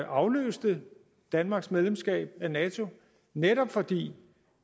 afløste danmarks medlemskab af nato netop fordi